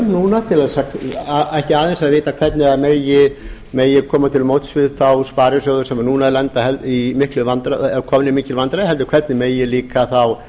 núna til þess ekki aðeins að vita hvernig megi koma til móts við þá sparisjóði sem núna eru komnir í mikil vandræði heldur megi líka þá